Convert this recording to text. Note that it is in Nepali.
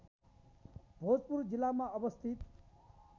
भोजपुर जिल्लामा अवस्थित